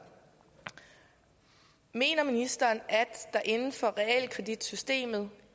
mener ministeren at der inden for realkreditsystemet